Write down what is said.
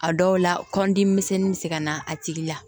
A dɔw la kɔndi misɛnnin bɛ se ka na a tigi la